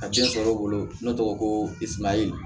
A den sɔrɔ o bolo ne tɔgɔ ko